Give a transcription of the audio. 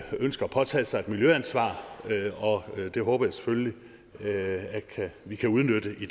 ønsker at påtage sig et miljøansvar og det håber jeg selvfølgelig at vi kan udnytte i